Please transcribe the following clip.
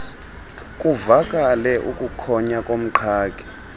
kuvakale ukukhonya komqhagi